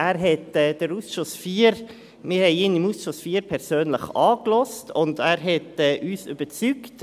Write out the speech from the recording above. Wir haben ihn im Ausschuss IV persönlich angehört, und er hat uns als Person überzeugt.